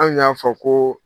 An y'a fɔ koo